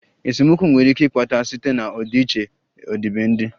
Esemokwu nwere ike ịkpata site na ọdịiche ọdịbendị